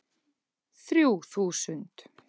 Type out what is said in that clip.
Þrjú þúsund